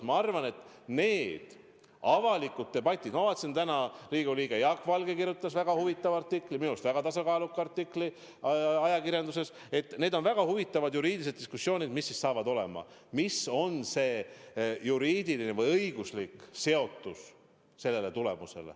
Ma arvan, et need avalikud debatid – ma vaatasin, täna Riigikogu liige Jaak Valge kirjutas väga huvitava artikli, minu arust väga tasakaaluka artikli ajakirjanduses –, on ja saavad olema väga huvitavad juriidilised diskussioonid selle üle, milline on saadud tulemuse juriidiline või õiguslik tagajärg.